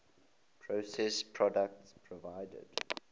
processed products provided